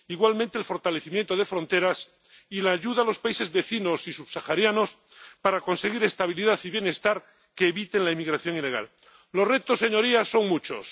igualmente, el fortalecimiento de fronteras y la ayuda a los países vecinos y subsaharianos para conseguir estabilidad y bienestar que eviten la inmigración ilegal. Los retos, señorías, son muchos.